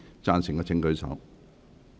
贊成的請舉手。